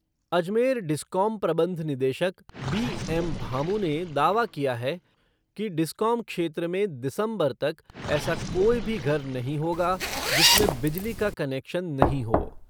Ajmer discom प्रबंध निदेशक B M Bhamu ने दावा किया है कि डिस्कॉम क्षेत्र में दिसंबर तक ऐसा कोई भी घर नहीं होगा जिसमें बिजली का कनेक्शन नहीं हो।